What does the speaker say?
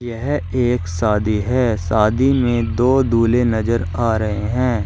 यह एक शादी है शादी में दो दूल्हे नजर आ रहे हैं।